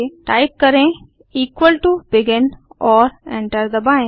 type करें equal to begin और enter दबाएँ